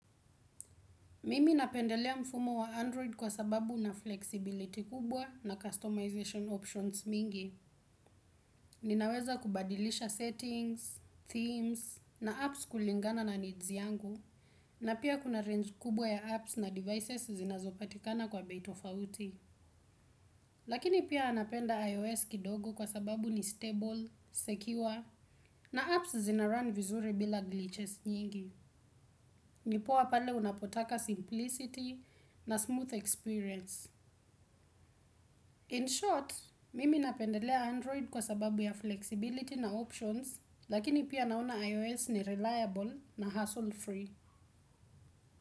Mimi napendelea mfumo wa Android kwa sababu huna flexibility kubwa na customization options mingi. Ninaweza kubadilisha settings, themes, na apps kulingana na needs yangu. Na pia kuna range kubwa ya apps na devices zinazopatikana kwa bei tofauti. Lakini pia napenda ios kidogo kwa sababu nj stable secure na apps zinarum vizuri bila glitches mingi. Ni poa pale unapotaka simplicity na smooth experience. In short, mimi napendelea Android kwa sababu ya flexibility na options, lakini pia naona iOS ni reliable na hassle free.